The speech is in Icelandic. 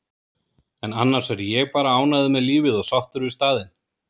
en annars er ég bara ánægður með lífið og sáttur við staðinn.